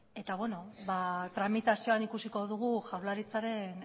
eta beno ba tramitazioan ikusiko dugu jaurlaritzaren